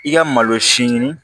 I ka malo si ɲini